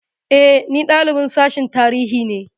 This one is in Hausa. E, ni dalibin Sashen Tarihi ne.